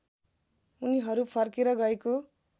उनीहरू फर्केर गएको